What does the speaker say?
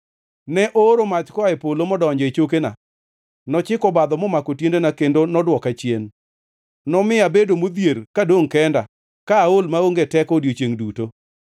Ne ooro mach koa e polo, modonjo e chokena. Nochiko obadho momako tiendena kendo nodwoka chien. Nomiya abedo modhier kadongʼ kenda ka aol maonge teko odiechiengʼ duto.